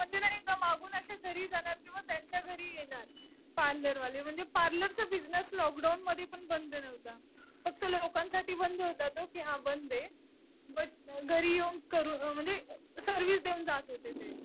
म्हणजे नाही का मागून असे घरी जाणार किंवा त्यांच्या घरी येणार पार्लरवाले. म्हणजे पार्लरचा बिजनेस लॉक डाऊनमध्ये पण बंद नव्हता. फक्त लोकांसाठी बंद होता तो कि हा बंद आहे. बट घरी येऊन करू म्हणजे सर्व्हिस देऊन जात होते ते.